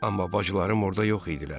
Amma bacılarım orda yox idilər.